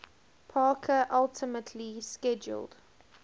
parker ultimately squelched